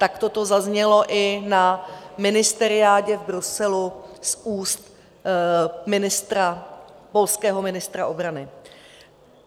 Tak to zaznělo i na ministeriádě v Bruselu z úst ministra, polského ministra obrany.